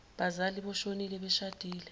bazali boshonile beshadile